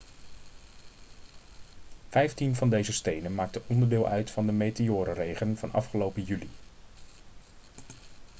vijftien van deze stenen maakte onderdeel uit van de meteorenregen van afgelopen juli